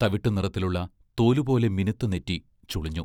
തവിട്ടു നിറത്തിലുള്ള തോലുപോലെ മിനുത്ത നെറ്റി ചുളിഞ്ഞു.